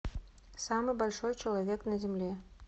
самый большой человек на земле